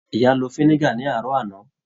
Ìyá ló finiga ni aarọ àna.